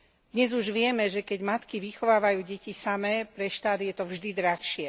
Dnes už vieme, že keď matky vychovávajú deti samé, pre štát je to vždy drahšie.